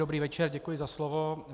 Dobrý večer, děkuji za slovo.